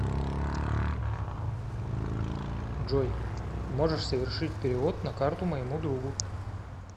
джой можешь совершить перевод на карту моему другу